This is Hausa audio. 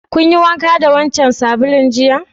Kun yi wanka da wancan sabulun jiya?